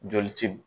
Joli ti